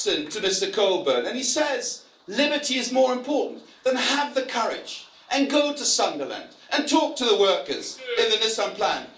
I did listen to Mr Coburn and he says liberty is more important'. Then have the courage and go to Sunderland and talk to the workers in the Nissan plant.